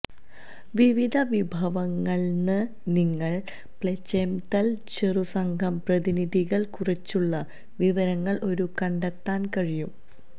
വിവിധ വിഭവങ്ങൾ ന് നിങ്ങൾ പ്ലചെംതല് ചെറുസംഘം പ്രതിനിധികൾ കുറിച്ചുള്ള വിവരങ്ങൾ ഒരു കണ്ടെത്താൻ കഴിയും